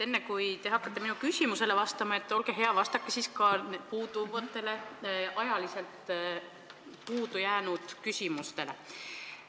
Enne, kui te hakkate minu küsimusele vastama, olge hea ja vastake ka nendele ajapuuduse tõttu vastamata jäänud küsimustele.